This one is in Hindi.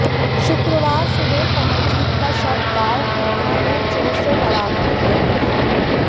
शुक्रवार सुबह कमलजीत का शव गांव कुकडा में चो से बरामद किया गया